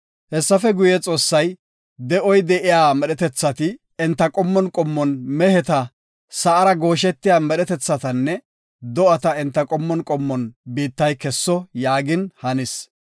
Hessafe guye, Xoossay, “De7oy de7iya medhetethati enta qommon qommon, meheta, sa7ara gooshetiya medhetethatanne do7ata enta qommon qommon biittay kesso” yaagin hanis.